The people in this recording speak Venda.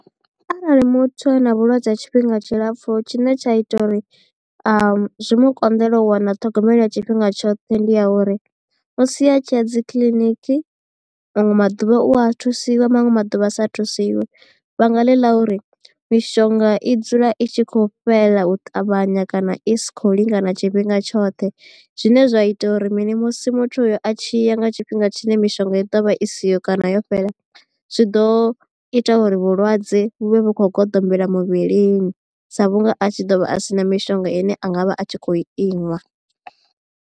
Arali muthu a na vhulwadze ha tshifhinga tshilapfu tshine tsha ita uri zwi mu konḓele u wana ṱhogomelo ya tshifhinga tshoṱhe ndi ya uri musi a tshiya dzi kiḽiniki. Manwe maḓuvha u a thusiwe manwe maḓuvha a sa thusiwe vhanga ḽi ḽa uri mishonga i dzula i tshi khou fhela u ṱavhanya kana i sikhou lingana tshifhinga tshoṱhe zwine zwa ita uri mini musi muthu uyo a tshi ya nga tshifhinga tshine mishonga i ḓovha i siho kana yo fhela zwi ḓo ita uri vhulwadze vhu vha vhu khou goḓombela muvhilini sa vhunga a tshi ḓo vha a sina mishonga ine a nga vha a tshi khou inwa.